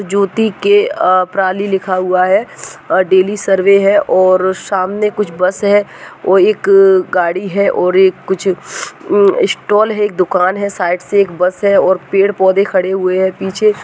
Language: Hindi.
ज्योती के प्रा ली लिखा हुआ है डेली सर्वे है और सामने कुछ बस है और एक गाडी है और कुछ स्टाल है दुकान है साइड से एक बस है और पेड़ पौधे खडे हुए हैं पीछे --